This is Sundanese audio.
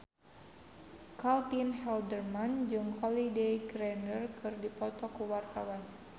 Caitlin Halderman jeung Holliday Grainger keur dipoto ku wartawan